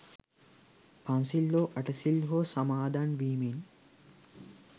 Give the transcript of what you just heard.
පන්සිල් හෝ අටසිල් හෝ සමාදන් වීමෙන්